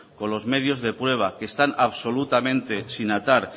con los medios de prueba que están absolutamente sin atar